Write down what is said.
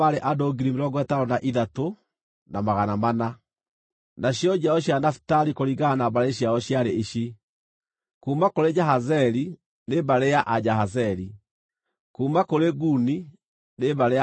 Nacio njiaro cia Nafitali kũringana na mbarĩ ciao ciarĩ ici: kuuma kũrĩ Jahazeeli, nĩ mbarĩ ya Ajahazeeli; kuuma kũrĩ Guni, nĩ mbarĩ ya Aguni;